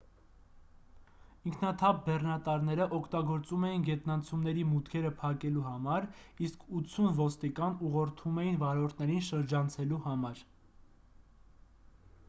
ինքնաթափ բեռնատարները օգտագործում էին գետնանցումների մուտքերը փակելու համար իսկ 80 ոստիկան ուղղորդում էին վարորդներին շրջանցելու համար